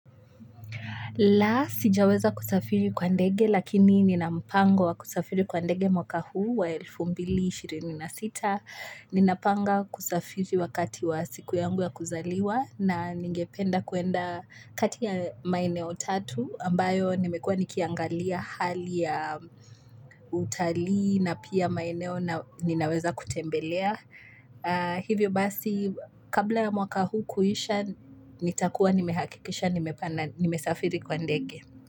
La, sijaweza kusafiri kwa ndege lakini ninampango wa kusafiri kwa ndege mwaka huu wa elfu mbili ishirini na sita ninapanga kusafiri wakati wa siku yangu ya kuzaliwa na ningependa kuenda kati ya maeneo tatu ambayo nimekuwa nikiangalia hali ya utalii na pia maeneo ninaweza kutembelea. Hivyo basi, kabla mwaka huu kuisha, nitakuwa nimehakikisha, nimesafiri kwa ndege.